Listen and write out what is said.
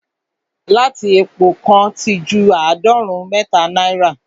lítà epo kan ti ju àádọ́rùn-ún mẹ́ta naira